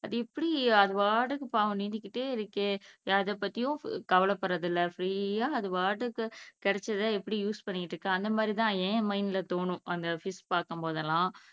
அது எப்படி அதுபாட்டுக்கு பாவம் நீந்திகிட்டே இருக்கே எதைப்பத்தியும் கவலைப்படுறது இல்லை ஃப்ரீயா அது பாட்டுக்கு கிடைச்சதை எப்படி யூஸ் பண்ணிக்கிட்டு இருக்கு அந்த மாதிரி தான் ஏன் மைண்ட்ல தோணும் ஃபிஷ் பாக்கும்போதெல்லாம்